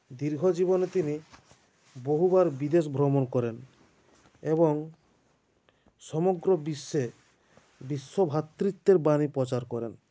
দীর্ঘ জীবনে তিনি বহুবার বিদেশ ভ্রমণ করেন এবং সমগ্ৰ বিশ্বে বিশ্বভাতৃত্বের বানী প্রচার করেন